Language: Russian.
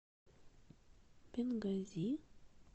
бенгази